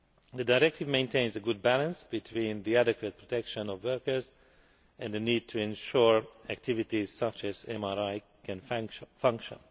The directive maintains a good balance between the adequate protection of workers and the need to ensure activities such as MRI can function.